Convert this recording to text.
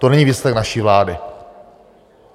To není výsledek naší vlády.